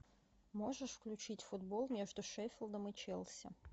можешь включить футбол между шеффилдом и челси